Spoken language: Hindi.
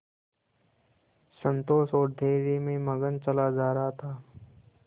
संतोष और धैर्य में मगन चला जा रहा था